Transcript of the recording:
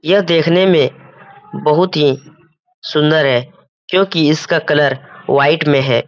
यह देखने में बहुत ही सुंदर है। क्योंकि इसका कलर व्हाइट में है।